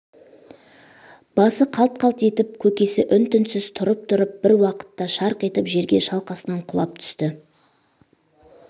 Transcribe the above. басы қалт-қалт етіп көкесі үн-түнсіз тұрып-тұрып бір уақытта шарқ етіп жерге шалқасынан құлап түсіпті